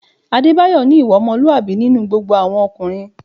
Adébáyọ̀ ní ìwà ọmọlúwàbí nínú gbogbo àwọn ọkùnrin